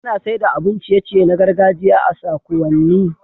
Ana saida abun ciye ciye na gargajiya a sakuwanni